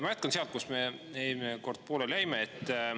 Ma jätkan sealt, kus me eelmine kord pooleli jäime.